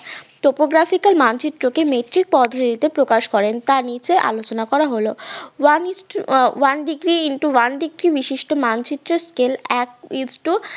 topographical মানচিত্রকে প্রকাশ করেন তা নিচে আলোচনা করা হলো one is to ah one degree into one degree বিশিষ্ট মানচিত্রের স্কেল এক ইস্টু